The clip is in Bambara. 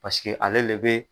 Pasike ale le bɛ